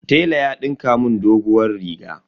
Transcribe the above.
Tela ya dinka mun doguwar riga.